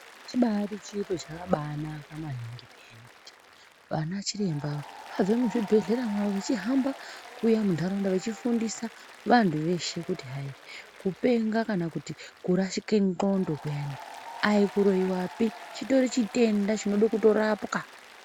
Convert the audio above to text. Chibari chiro chakabanaka maningi peyani kuti vana chiremba ava ,vabve muzvibhehlera mwavo vechihamba kuuya munharaunda vechifundisa vantu veshe ,kutihayi kupenga kana kurashika ngondokuyani aikuroiwapi chitori chitenda chinoda kurapwa.